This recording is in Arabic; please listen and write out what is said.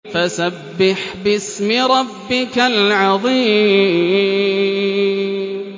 فَسَبِّحْ بِاسْمِ رَبِّكَ الْعَظِيمِ